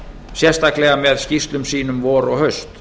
sérstaklega með skýrslum sínum vor og haust